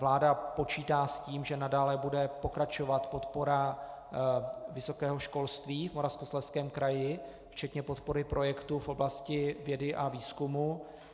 Vláda počítá s tím, že nadále bude pokračovat podpora vysokého školství v Moravskoslezském kraji, včetně podpory projektů v oblasti vědy a výzkumu.